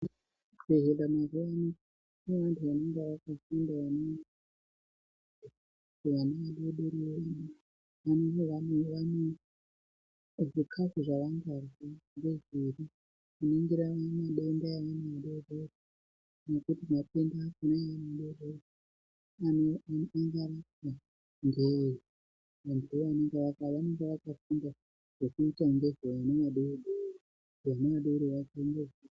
Kuzvibhedhlera mazuwaano kune vanthu vanenge vakafunda vanoningira vana vadodori kuti zvikafu zvava ngarya ngezviri vanoningira midenda ......